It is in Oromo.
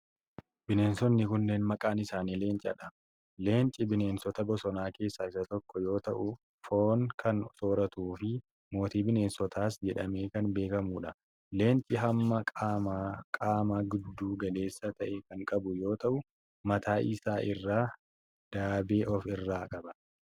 Bineensonni kunnneen maqaan isaanii leenca dha. Leenci bineensota bosonaa keessa isa tokko yoo ta'ufoon kan sooratuu fi mootii bineensotaas jedhamee kan beekamuu dha. Leenci hamma qaamaa giddu galeessa ta'e kan qabu yoo ta'u, mataa isaa irraa daabee of irraa qaba.